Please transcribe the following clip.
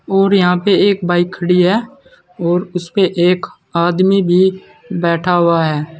और यहां पर एक बाइक खड़ी है और उसपे एक आदमी भी बैठा हुआ है।